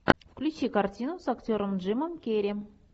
включи картину с актером джимом керри